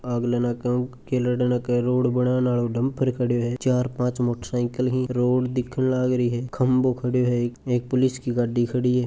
आगले नाके उ के गेल डे नाके रोड बणाण आरो डम्पर खड़े है चार पांच मोटसाइकिल ही रोड दिखन लाग रही है खम्भों खड़े है एक पुलिस की गाड़ी खड़ी है।